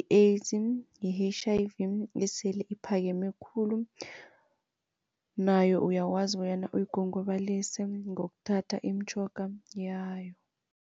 i-AIDS i-H_I_V esele ephakeme khulu nayo uyakwazi bonyana uyigongobalise ngokuthatha imitjhoga yayo.